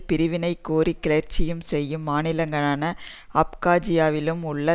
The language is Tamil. பிரிவினை கோரி கிளர்ச்சி செய்யும் மாநிலங்களான அப்காஜியாவிலும் உள்ள